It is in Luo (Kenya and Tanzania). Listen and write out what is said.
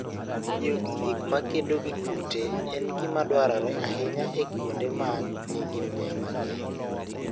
Tiyo gi gik makedo gi kute en gima dwarore ahinya e kuonde ma nigi muya mang'eny.